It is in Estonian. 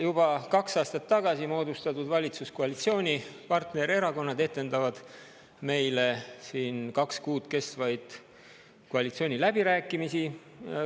Juba kaks aastat tagasi moodustatud valitsuskoalitsiooni partnererakonnad etendavad meile siin kaks kuud kestvaid koalitsiooniläbirääkimisi.